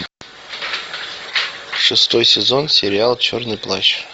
шестой сезон сериал черный плащ